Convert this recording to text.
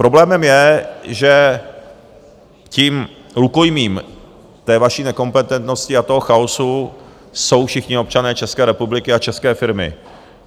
Problémem je, že tím rukojmím té vaší nekompetentnosti a toho chaosu jsou všichni občané České republiky a české firmy.